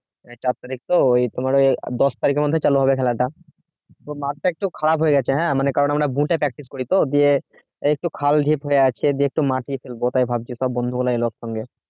চার তারিখ তোমার ওই দশ তারিখের মধ্যে খেলা হবে খেলাটা তোর মাথা একটু খারাপ হয়ে গেছে হ্যাঁ কারণ আমরা এ practice করি তো যে একটু হয়ে আছে যত মাঠে খেলব তাই ভাবছি সব বন্ধুগুলো এল সঙ্গে